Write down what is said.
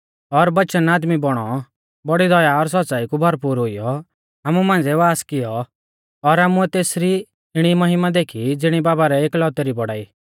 और वचन आदमी बौणौ बौड़ी दया और सौच़्च़ाई कु भरपूर हुईऔ आमु मांझ़िऐ वास कियौ और आमुऐ तेसरी इणी महिमा देखी ज़िणी बाबा रै एकलौतै री बौड़ाई